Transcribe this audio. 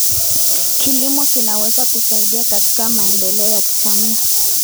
Kilimo kinaweza kusaidia katika maendeleo ya jamii.